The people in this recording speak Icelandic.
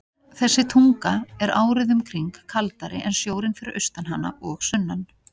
Þessi tunga er árið um kring kaldari en sjórinn fyrir austan hana og sunnan.